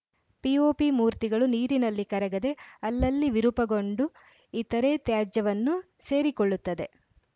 POP ಮೂರ್ತಿಗಳು ನೀರಿನಲ್ಲಿ ಕರಗದೆ ಅಲ್ಲಲ್ಲಿ ವಿರೂಪಗೊಂಡು ಇತರೆ ತ್ಯಾಜ್ಯವನ್ನು ಸೇರಿಕೊಳ್ಳುತ್ತದೆ